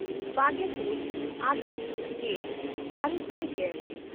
ᱵᱟᱜᱮᱼᱛᱩᱨ August ᱜᱮᱼᱟᱨᱮ ᱥᱟᱭ ᱜᱮᱞ